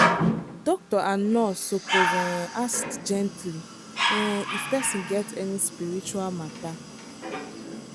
doctor and nurse suppose um ask gently um if person get any spiritual matter.